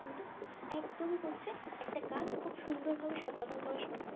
একদমই হচ্ছে একটা কাজ খুব সুন্দর ভাবে সম্পাদন করা সম্ভব